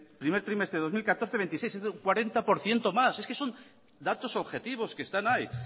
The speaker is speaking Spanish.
primer trimestre de dos mil catorce veintiséis por ciento más es que son datos objetivos que están ahí